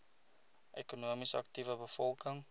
ekonomies aktiewe bevolking